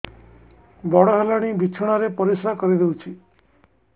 ବଡ଼ ହେଲାଣି ବିଛଣା ରେ ପରିସ୍ରା କରିଦେଉଛି